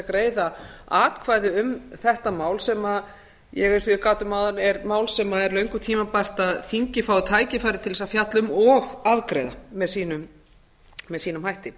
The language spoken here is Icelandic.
greiða atkvæði um þetta mál sem ég eins og ég gat um áðan er mál sem er löngu tímabært að þingið fái tækifæri til þess að fjalla um og afgreiða með sínum hætti